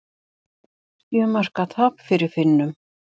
Sjö marka tap fyrir Finnum